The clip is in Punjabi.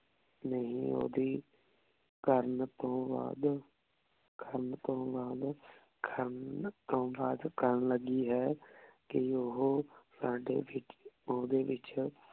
ਨਹੀ ਓਹਦੀ ਕਰਨ ਤੋਂ ਬਾਅਦ ਤੋਂ ਬਾਅਦ ਕਰਨ ਤੋਂ ਬਾਦ ਕਰਨ ਲਗੀ ਹੈ ਕੀ ਓਹੋ ਸਾਡੇ ਵਿਚ ਓਹਦੇ ਵਿਚ